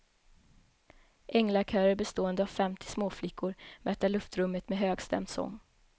Änglakörer bestående av femtio småflickor mättar luftrummet med högstämd sång.